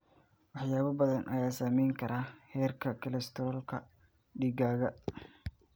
Waxyaabo badan ayaa saameyn kara heerka kolestaroolka dhiiggaaga.